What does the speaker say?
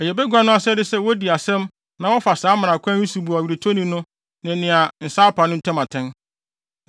ɛyɛ bagua no asɛde sɛ wodi asɛm na wɔfa saa mmarakwan yi so bu ɔweretɔni no nea ne nsa apa no ntam atɛn.